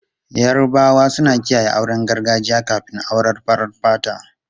Yarabawa suna kiyaye auren gargajiya kafin auren farar fata.